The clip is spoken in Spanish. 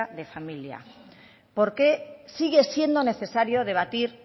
de familia por qué sigue siendo necesario debatir